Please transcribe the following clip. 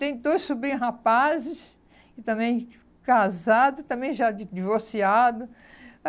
Tem dois sobrinhos rapazes, e também casados, e também já di divorciados.